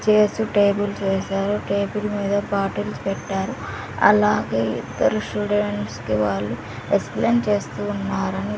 Chairs tables వేశారు table మీద bottles పెట్టారు అలాగే ఇద్దరు స్టూడెంట్స్ కి వాళ్ళు ఎక్స్ప్లెయిన్ చేస్తూ ఉన్నారు.